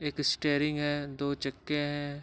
एक स्टीयरिंग हैदो चक्के है।